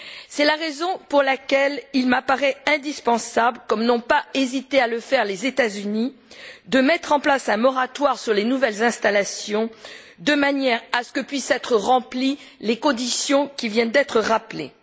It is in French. C'est la raison pour laquelle il m'apparaît indispensable, comme n'ont pas hésité à le faire les États Unis, de mettre en place un moratoire sur les nouvelles installations de manière à ce que puissent être remplies les conditions qui viennent d'être rappelées.